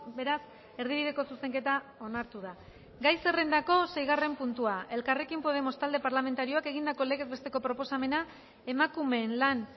beraz erdibideko zuzenketa onartu da gai zerrendako seigarren puntua elkarrekin podemos talde parlamentarioak egindako legez besteko proposamena emakumeen lan